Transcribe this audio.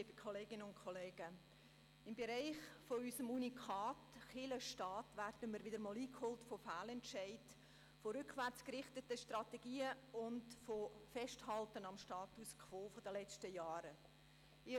Wir werden im Bereich unseres Unikats «Kirche und Staat» wieder einmal von Fehlentscheiden, von rückwärts gerichteten Strategien und vom Festhalten am Status quo der letzten Jahre eingeholt.